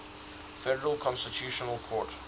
federal constitutional court